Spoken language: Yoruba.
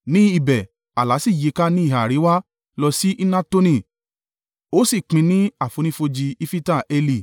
Ní ibẹ̀, ààlà sì yíká ní ìhà àríwá lọ sí Hnatoni ó sì pín ní àfonífojì Ifita-Eli.